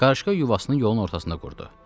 Qarışqa yuvasını yolun ortasında qurdu.